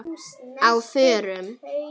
Á FÖRUM?